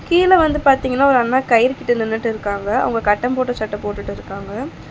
கீழ வந்து பாத்தீங்கன்னா ஒரு அண்ணா கயிறு கிட்ட நின்னுட்டு இருக்காங்க அவங்க கட்டம் போட்ட சட்ட போட்டுட்டு இருக்காங்க.